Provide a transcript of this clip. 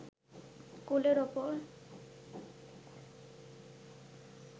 কোলের ওপর